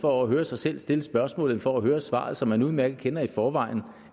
for at høre sig selv stille spørgsmålet end for at høre svaret som man udmærket kender i forvejen